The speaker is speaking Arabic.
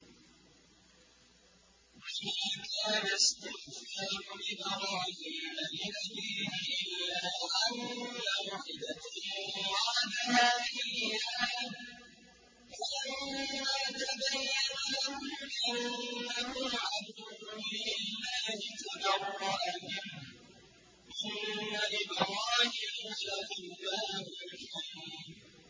وَمَا كَانَ اسْتِغْفَارُ إِبْرَاهِيمَ لِأَبِيهِ إِلَّا عَن مَّوْعِدَةٍ وَعَدَهَا إِيَّاهُ فَلَمَّا تَبَيَّنَ لَهُ أَنَّهُ عَدُوٌّ لِّلَّهِ تَبَرَّأَ مِنْهُ ۚ إِنَّ إِبْرَاهِيمَ لَأَوَّاهٌ حَلِيمٌ